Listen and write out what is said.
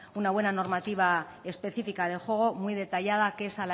una buena normativa específica de juego muy detallada que es